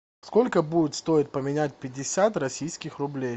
сколько будет стоить поменять пятьдесят российских рублей